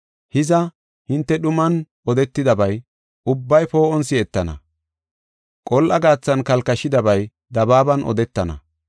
Hiza, hinte dhuman odetidabay ubbay poo7on si7etana, qol7a gaathan kalkashidabay dabaaban odetana.